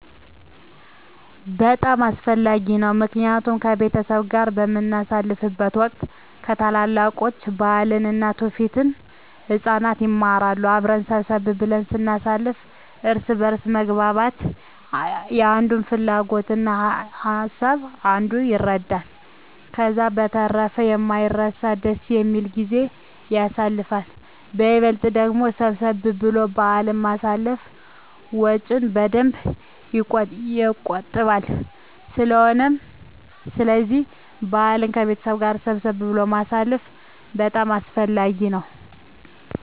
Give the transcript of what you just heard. በጣም አስፈላጊ ነው ምክንያቱም ከቤተሰብ ጋር በምናሳልፍበት ወቅት ከታላላቆች ባህልን እና ትውፊትን ህፃናት ይማራሉ። አብረን ሰብሰብ ብለን ስናሳልፍ እርስ በእርስ መግባባት የአንዱን ፍላጎት እና ሀሳብ አንዱ ይረዳል። ከዛ በተረፈ የማይረሳ ደስ የሚል ጊዜን ያሳልፋሉ በይበልጥ ደግሞ ሰብሰብ ብሎ በአልን ማሳለፍ ወጭን በደንብ የቆጥባል ስለዚህ በአልን ከቤተሰብ ጋር ሰብሰብ ብሎ ማሳለፍ በጣም አስፈላጊ ነው።